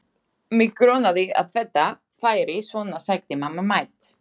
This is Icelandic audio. Mig grunaði að þetta færi svona sagði mamma mædd.